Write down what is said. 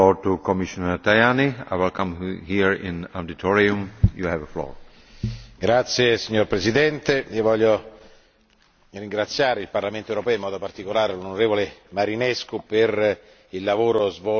Signor Presidente, desidero ringraziare il Parlamento europeo, in modo particolare l'onorevole Marinescu, per il lavoro svolto su questo non soltanto perché Galileo è stata la prima delle proposte